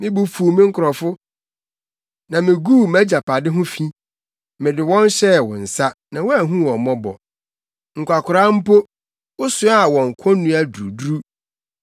Me bo fuw me nkurɔfo, na miguu mʼagyapade ho fi; mede wɔn hyɛɛ wo nsa, na woanhu wɔn mmɔbɔ. Nkwakoraa koraa mpo, wosoaa wɔn konnua duruduru.